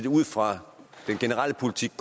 ud fra den generelle politik